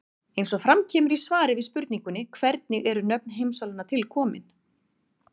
Eins og fram kemur í svari við spurningunni Hvernig eru nöfn heimsálfanna til komin?